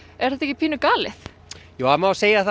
er þetta ekki galið það má segja það